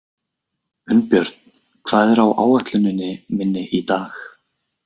Unnbjörn, hvað er á áætluninni minni í dag?